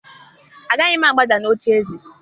Agaghị m agbada n'ocheeze!